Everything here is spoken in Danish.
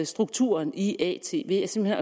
strukturen i at ved simpelt